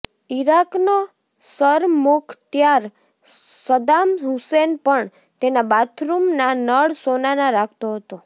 ઈરાકનો સરમુખત્યાર Saddam Hussein પણ તેના બાથરૂમના નળ સોનાના રાખતો હતો